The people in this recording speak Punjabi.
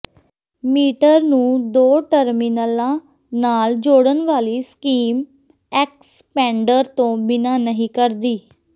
ਮੀਟਰ ਨੂੰ ਦੋ ਟਰਮੀਨਲਾਂ ਨਾਲ ਜੋੜਨ ਵਾਲੀ ਸਕੀਮ ਐਕਸਪੈਂਡਰ ਤੋਂ ਬਿਨਾਂ ਨਹੀਂ ਕਰਦੀ